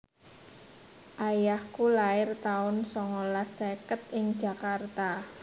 Ayahku lair taun songolas seket ing Jakarta